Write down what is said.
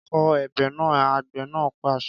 Kọ ebè náà! Àgbẹ̀ náà pàṣẹ